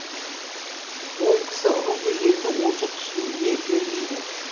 ол кісі ру дегенді онша түсіне бермейді